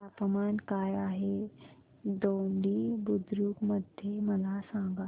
तापमान काय आहे दोडी बुद्रुक मध्ये मला सांगा